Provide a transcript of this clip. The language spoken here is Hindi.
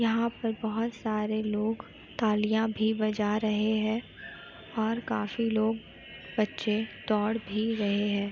यहां पर बहोत सारे लोग तालियां भी बजा रहे हैं और काफी लोग बच्चे दौड़ भी रहे हैं।